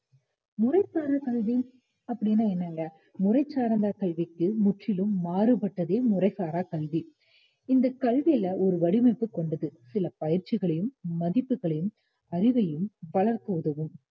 முறைசாரா கல்வி அப்படின்னா என்னங்க முறைசார்ந்த கல்விக்கு முற்றிலும் மாறுபட்டதே முறைசாரா கல்வி இந்த கல்வியில ஒரு வடிவமைப்பு கொண்டது சில பயிற்சிகளையும் மதிப்புகளையும், அறிவையும் வளர்க்க உதவும்